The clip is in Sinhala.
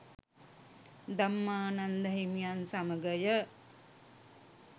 ධම්මානන්ද හිමියන් සමඟය.